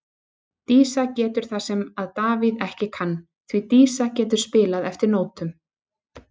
Dísa getur það sem að Davíð ekki kann, því Dísa getur spilað eftir nótum.